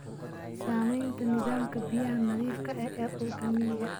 Saamaynta nidaamka biyaha nadiifka ah ee dhulka miyiga ah.